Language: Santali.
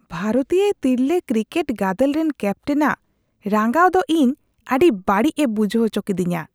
ᱵᱷᱟᱨᱚᱛᱤᱭᱟᱹ ᱛᱤᱨᱞᱟᱹ ᱠᱨᱤᱠᱮᱴ ᱜᱟᱫᱮᱞ ᱨᱮᱱ ᱠᱮᱯᱴᱮᱱᱟᱜ ᱨᱟᱸᱜᱟᱣ ᱫᱚ ᱤᱧ ᱟᱹᱰᱤ ᱵᱟᱹᱲᱤᱡᱽ ᱮ ᱵᱩᱡᱷᱟᱹᱣ ᱟᱪᱚ ᱠᱤᱫᱤᱧᱟ ᱾